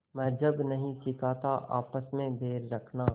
मज़्हब नहीं सिखाता आपस में बैर रखना